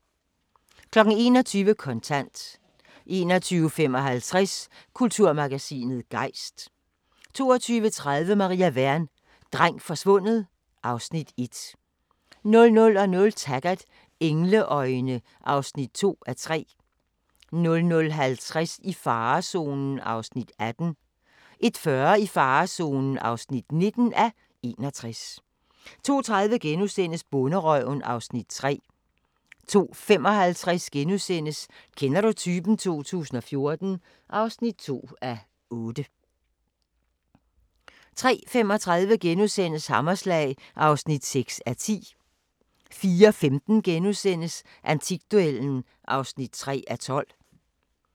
21:00: Kontant 21:55: Kulturmagasinet Gejst 22:30: Maria Wern: Dreng forsvundet (Afs. 1) 00:00: Taggart: Engleøjne (2:3) 00:50: I farezonen (18:61) 01:40: I farezonen (19:61) 02:30: Bonderøven (Afs. 3)* 02:55: Kender du typen? 2014 (2:8)* 03:35: Hammerslag (6:10)* 04:15: Antikduellen (3:12)*